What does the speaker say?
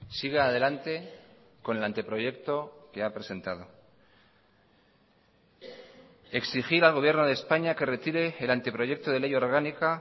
siga adelante con el anteproyecto que ha presentado exigir al gobierno de españa que retire el anteproyecto de ley orgánica